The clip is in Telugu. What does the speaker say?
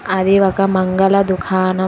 అది ఒక మంగళ దుకాణం.